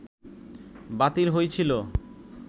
বাতিল হইছিল